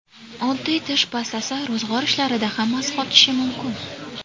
Oddiy tish pastasi ro‘zg‘or ishlarida ham asqotishi mumkin .